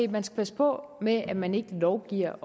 at man skal passe på med at man ikke lovgiver